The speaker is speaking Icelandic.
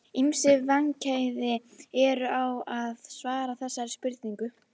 Ýmis vandkvæði eru á að svara þessari spurningu.